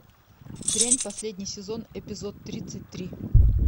дрянь последний сезон эпизод тридцать три